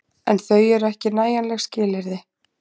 En þau eru ekki nægjanleg skilyrði.